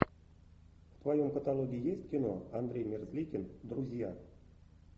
в твоем каталоге есть кино андрей мерзликин друзья